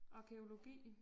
Arkæologi